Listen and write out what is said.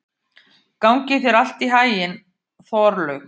Gangi þér allt í haginn, Þorlaug.